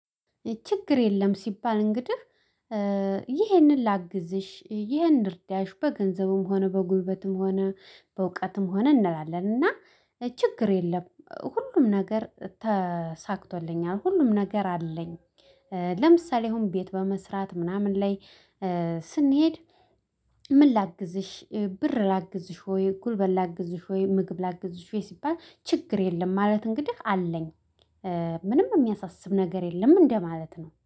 ችግር የለም ሲባል እንግዲህ ይህንን ላግዝሽ ይህን እርዳሽ በገንዘቡም ሆነ በጉልበትም ሆነ በእውቀትም ሆነ እንላለን። እና ችግር የለም ሁሉም ነገር ተሳክቶልኛል ሁሉም ነገር አለኝ። ለምሳሌ አሁን ቤት በመስራት ምናምን ላይ ስንሄድ። ምን ላግዝሽ ብር ላግዝሽ ሆይ ጉልበት ላግዝሽ ሆይ ምግብ ላግዝሽ ሲባል ችግር የለም ማለት እንግዲህ አለኝ። ምንም የሚያሳስብ ነገር የለም እንደማለት ነው